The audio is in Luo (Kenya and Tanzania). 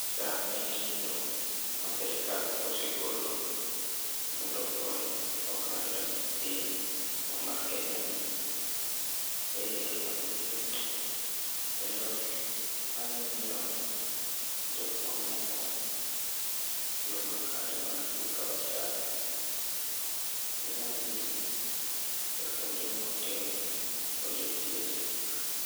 SHA en gino ma sirkal osegolo mondo okony oganda piny mar Kenya ni eyore mag thieth kendo anyalo miyo jok mamoko yo makare mar dhi kawo SHA. Inyalo dhi ekuonde matingni kuonde thieth